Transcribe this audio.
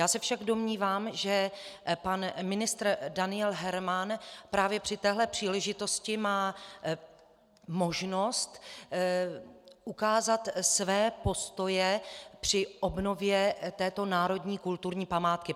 Já se však domnívám, že pan ministr Daniel Herman právě při téhle příležitosti má možnost ukázat své postoje při obnově této národní kulturní památky.